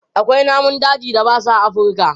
Akwai namun dajin da babu a Afurka.